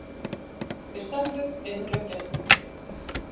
Þeir særðu eru á gjörgæslu